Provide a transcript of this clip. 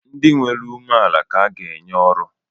Ndị nwere umeala ka anyị ga-enye oru